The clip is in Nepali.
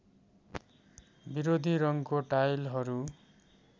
विरोधी रङ्गको टाइलहरू